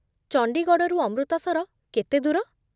ଚଣ୍ଡିଗଡ଼ରୁ ଅମୃତସର କେତେ ଦୂର?